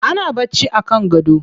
Ana bacci a kan gado.